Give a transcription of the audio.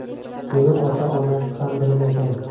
Buni ota-onasi ham bilmagan”.